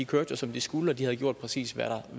kørte som de skulle og de havde gjort præcis hvad